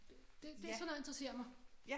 Det det sådan noget interesserer mig